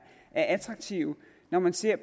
attraktive når man ser